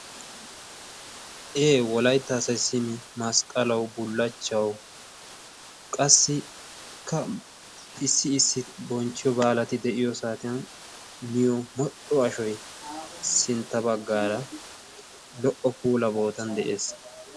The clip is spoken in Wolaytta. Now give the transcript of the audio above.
Ee! Wolaytta asai simi masqqalawu bulachchawu qassikka issi issi bonchchiyo baalati de'iyo saatiya miyo modhdho ashoy sintta baggaara lo"o puula bootan de'ees.